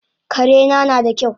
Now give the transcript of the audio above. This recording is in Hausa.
Karena nada kyau